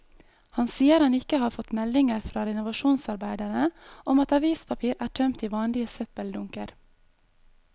Han sier han ikke har fått meldinger fra renovasjonsarbeiderne om at avispapir er tømt i vanlige søppeldunker.